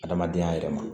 Adamadenya yɛrɛ ma